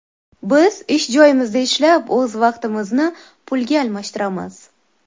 Biz ish joyimizda ishlab o‘z vaqtimizni pulga almashtiramiz.